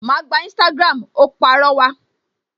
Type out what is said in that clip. Ma gba Instagram! Ó pàrọwà